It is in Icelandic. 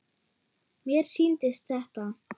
Mér sýndist þetta.